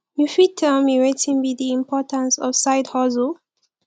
you fit tell me wetin be di importance of sidehustle